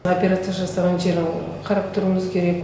операция жасалған жерін қарап тұруымыз керек